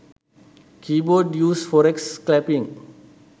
keybord use forex scalping